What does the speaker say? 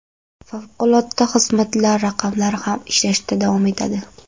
Favqulodda xizmatlar raqamlari ham ishlashda davom etadi.